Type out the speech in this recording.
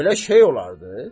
Belə şey olardı?